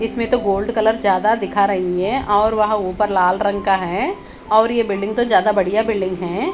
इसमें तो gold colour ज्यादा दिखा रही है और वहां ऊपर लाल रंग का है और ये बिल्डिंग तो ज्यादा बढ़िया बिल्डिंग है।